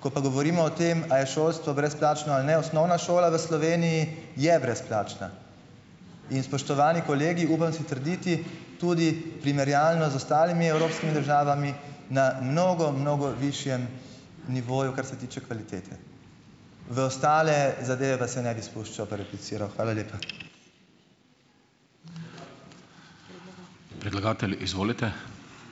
Ko pa govorimo o tem, a je šolstvo brezplačno ali ne, osnovna šola v Sloveniji je brezplačna. In spoštovani kolegi, upam si trditi, tudi primerjalno z ostalimi evropskimi državami, na mnogo, mnogo višjem nivoju, kar se tiče kvalitete. V ostale zadeve pa se ne bi spuščal pa repliciral. Hvala lepa.